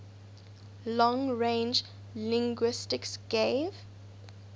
long range linguistics gave